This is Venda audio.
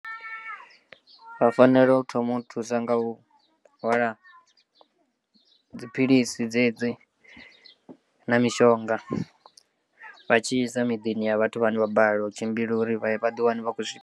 Vha fanela u thoma u thusa nga u hwala dziphilisi dzedzi na mishonga vha tshi isa miḓini ya vhathu vhane vha balelwa u tshimbila uri vhaḓi wane vha khou zwika.